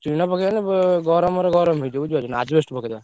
ଟିଣ ପକେଇଆନି ଉ ଗରମରେ ଗରମ ହେଇଯିବ ବୁଝିପାରୁଛ ନା asbestos ପକେଇଦବା।